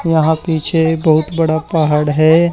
यहां पीछे बहुत बड़ा पहाड़ है।